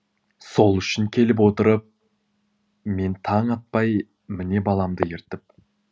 сол үшін келіп отырып мен таң атпай міне баламды ертіп